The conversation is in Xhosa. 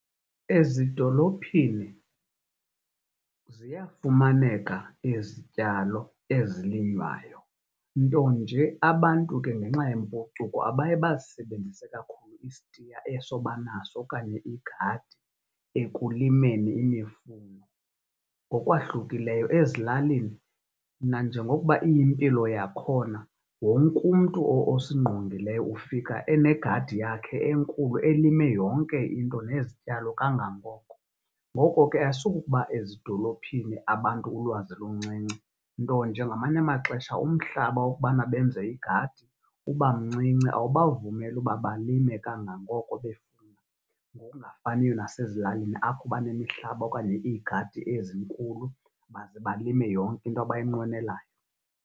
Ezidolophini ziyafumaneka izityalo ezilinywayo nto nje abantu ke ngenxa yempucuko abaye bazisebenzise kakhulu istiya eso banaso okanye igadi ekulimeni imifuno. Ngokwahlukileyo ezilalini nanjengokuba iyimpilo yakhona wonke umntu osingqungileyo ufika enegadi yakhe enkulu elime yonke into nezityalo kangangoko. Ngoko ke, asukuba ezidolophini abantu ulwazi luncinci, nto nje ngamanye amaxesha umhlaba wokubana benze igadi uba mncinci. Awubavumeli uba balime kangangoko befuna ngongafaniyo nasezilalini apho banemihlaba okanye iigadi ezinkulu baze balime yonke into abayinqwenelayo.